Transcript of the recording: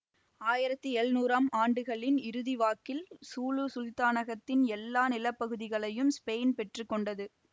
ஆயிரத்தி எழுநூறாம் ஆண்டுகளின் இறுதிவாக்கில் சூலு சுல்தானகத்தின் எல்லா நிலப்பகுதிகளையும் ஸ்பெயின் பெற்று கொண்டது